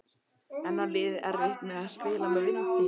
En á liðið erfitt með að spila með vindi?